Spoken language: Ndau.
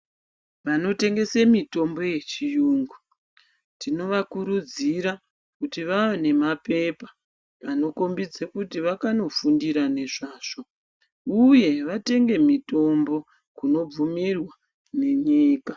Wanotengese mitombo yechiyungu tino wakurudzira kuti waane nemapepa anokhombidza kuti waakanofundira nezvazvo uye watenge mitombo kunobvumirwa nenyika.